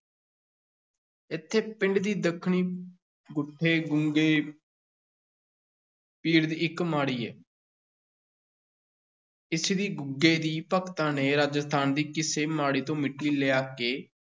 ਇੱਥੇ ਪਿੰਡ ਦੀ ਦੱਖਣੀ ਗੁੱਠੇ ਗੁੱਗੇ ਪੀਰ ਦੀ ਇੱਕ ਮਾੜੀ ਹੈ ਇੱਥੇ ਦੀ ਗੁੱਗੇ ਦੀ ਭਗਤਾਂ ਨੇ ਰਾਜਸਥਾਨ ਦੀ ਕਿਸੇ ਮਾੜੀ ਤੋਂ ਮਿੱਟੀ ਲਿਆ ਕੇ